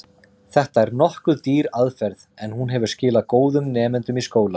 Þetta er nokkuð dýr aðferð, en hún hefur skilað góðum nemendum í skólann.